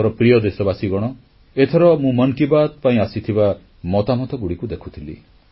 ମୋର ପ୍ରିୟ ଦେଶବାସୀଗଣ ଏଥର ମୁଁ ମନ୍ କି ବାତ୍ ପାଇଁ ଆସିଥିବା ମତାମତଗୁଡ଼ିକ ଦେଖୁଥିଲି